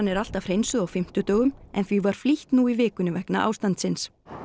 er alltaf hreinsuð á fimmtudögum en því var flýtt nú í vikunni vegna ástandsins